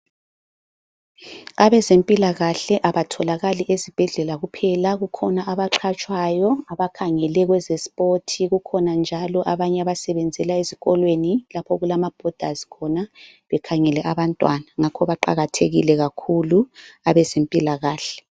Abezempilakahle abatholakali ezibhedlela kuphela kukhona abaqhatshwayo abakhangele kwezespoti kukhona njalo abanye abasebenzela ezikolweni lapho okulama bhodazi khona, bekhangele abantwana, ngakho baqakathekile kakhulu abezempilakahle.